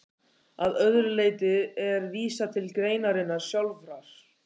Að öðru leyti er vísað til greinarinnar sjálfrar.